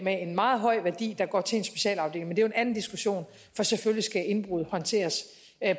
meget høj værdi går til en specialafdeling men jo en anden diskussion for selvfølgelig skal indbrud håndteres